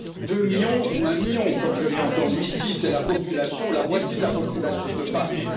Deux millions, ou un million, comme je l'ai entendu ici, c'est la population ou la moitié de la population de Paris.